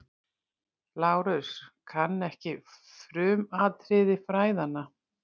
LÁRUS: Kann ekki frumatriði fræðanna.